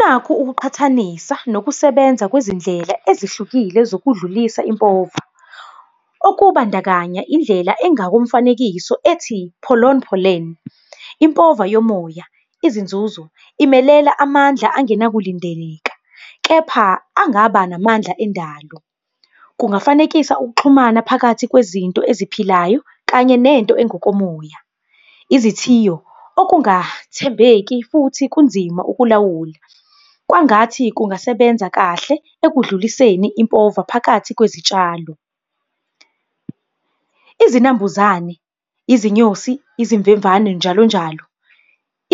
Nakhu ukuqhathanisa nokusebenza kwezindlela ezihlukile zokudlulisa impova. Okubandakanya indlela engakomfanekiso ethi pollen. Impova yomoya, izinzuzo imelela amandla angenakulindeleka, kepha angaba namandla endalo. Kungafanekisa ukuxhumana phakathi kwezinto eziphilayo kanye nento engokomoya. Izithiyo, okungathembeki futhi kunzima ukulawula, kwangathi kungasebenza kahle ekudluliseni impova phakathi kwezitshalo. Izinambuzane, izinyosi, izimvemvane njalo njalo.